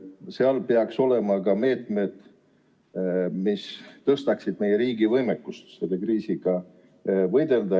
Lisaeelarves peaksid olema ka meetmed, mis suurendaksid meie riigi võimekust selle kriisiga võidelda.